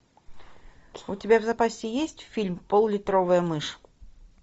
у тебя в запасе есть фильм поллитровая мышь